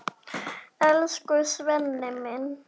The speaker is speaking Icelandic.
Elsku Svenni minn.